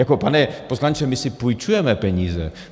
Jako pane poslanče, my si půjčujeme peníze.